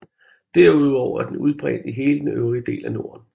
Derudover er den udbredt i hele den øvrige del af Norden